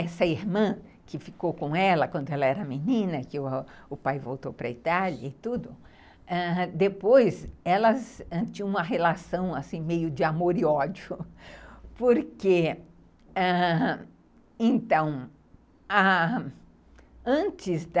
essa irmã que ficou com ela quando ela era menina, que o pai voltou para a Itália e tudo, ãh, depois elas tinham uma relação assim meio de amor e ódio, porque, ãh, então, ãh, antes da